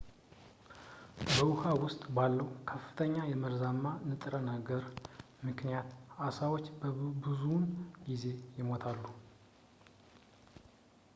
በውኃ ውስጥ ባለው ከፍተኛ የመርዛማ ንጥረ ነገር ምክንያት ዓሦች ብዙውን ጊዜ ይሞታሉ